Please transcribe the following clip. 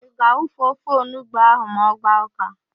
Ị ga-awufu ofe onugbo ahụ ma ọ gbaa ụ́ká?